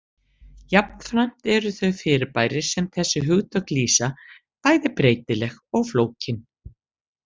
Jafnframt eru þau fyrirbæri sem þessi hugtök lýsa bæði breytileg og flókin.